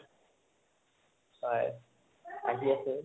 হয় আহি আছে